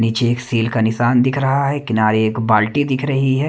नीचे एक सील का निशान दिख रहा है किनारे एक बाल्टी दिख रही है।